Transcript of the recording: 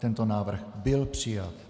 Tento návrh byl přijat.